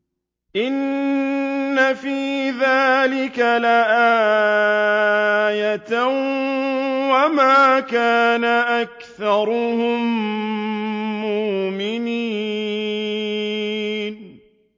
إِنَّ فِي ذَٰلِكَ لَآيَةً ۖ وَمَا كَانَ أَكْثَرُهُم مُّؤْمِنِينَ